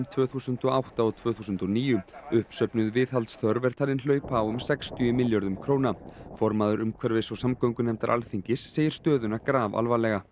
tvö þúsund og átta og tvö þúsund og níu uppsöfnuð viðhaldsþörf er talin hlaupa á um sextíu milljörðum króna formaður umhverfis og samgöngunefndar Alþingis segir stöðuna grafalvarlega